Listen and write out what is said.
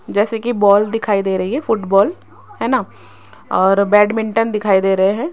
जैसे की बॉल दिखाई दे रही है फुटबॉल है ना और बैडमिंटन दिखाई दे रहें हैं।